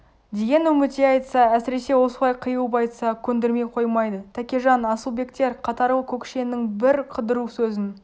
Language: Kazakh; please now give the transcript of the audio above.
деген үмітей айтса әсіресе осылай қиылып айтса көндірмей қоймайды тәкежан асылбектер қатарлы көкшенің бір қыдыру сөзін